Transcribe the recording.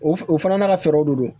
O f o fana n'a ka fɛɛrɛw de don